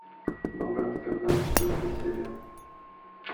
новый амстердам четвертая серия